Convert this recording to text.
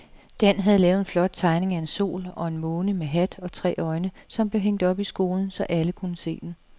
Dan havde lavet en flot tegning af en sol og en måne med hat og tre øjne, som blev hængt op i skolen, så alle kunne se den.